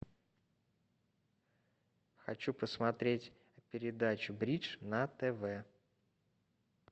хочу посмотреть передачу бридж на тв